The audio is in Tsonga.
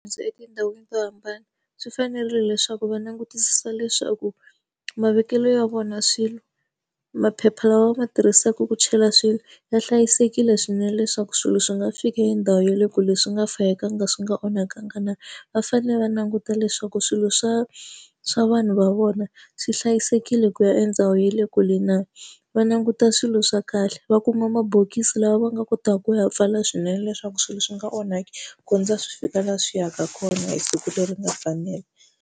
Ndzi etindhawini to hambana, swi fanerile leswaku va langutisisa leswaku mavekelo ya vona ya swilo, maphepha lawa va ma tirhisaka ku chela swilo ya hlayisekile swinene leswaku swilo swi nga fiki hi ndhawu ya le kule leswi nga fikanga swi nga onhakangi na. Va fanele va languta leswaku swilo swa swa vanhu va vona swi hlayisekile ku ya endhawu ya le kule na. Va languta swilo swa kahle, va kuma mabokisi lawa va nga kotaka ku ya pfala swinene leswaku swilo swi nga onhaki ku kondza swi fika laha swi yaka kona hi siku leri nga fanela.